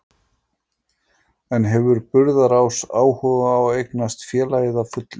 En hefur Burðarás áhuga á að eignast félagið að fullu?